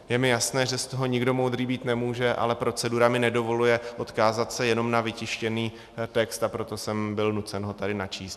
Je mi jasné, že z toho nikdo moudrý být nemůže, ale procedura mi nedovoluje odkázat se jenom na vytištěný text, a proto jsem byl nucen ho tady načíst.